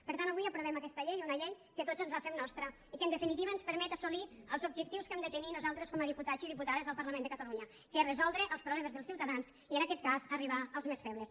per tant avui aprovem aquesta llei una llei que tots ens la fem nostra i que en definitiva ens permet assolir els objectius que hem de tenir nosaltres com a diputats i diputades al parlament de catalunya que és resoldre els problemes dels ciutadans i en aquest cas arribar als més febles